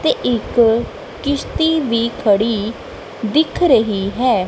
ਤੇ ਇੱਕ ਕਿਸ਼ਤੀ ਵੀ ਖੜੀ ਦਿੱਖ ਰਹੀ ਹੈ।